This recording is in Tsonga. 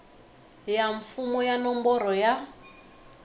ya mfumo ya nomboro ya